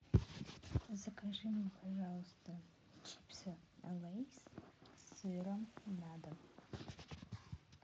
закажи мне пожалуйста чипсы лейс с сыром на дом